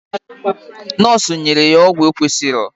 Nọsu nyere ya ọgwụ okwesịrọ